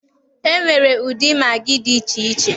E nwere ụdị magị dị iche iche